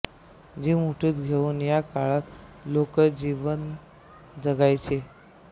जीव मुठीत घेऊन या काळात लोक जीवन जगायचे